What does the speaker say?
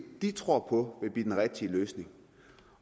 de tror på vil blive den rigtige løsning